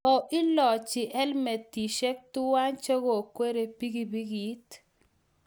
Koilochi helemetishek tuwai che kokweriei pikipikit